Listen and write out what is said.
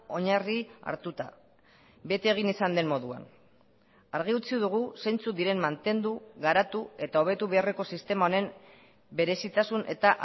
oinarri hartuta bete egin izan den moduan argi utzi dugu zeintzuk diren mantendu garatu eta hobetu beharreko sistema honen berezitasun eta